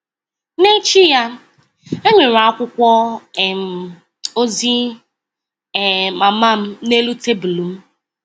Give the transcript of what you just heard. N’echi ya, e nwere akwụkwọ um ozi um mama m n’elu tebụl m. um